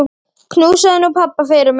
Knúsaðu nú pabba fyrir mig.